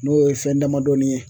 N'o ye fɛn damadɔɔni ye.